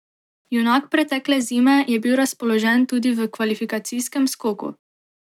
Junak pretekle zime je bil razpoložen tudi v kvalifikacijskem skoku.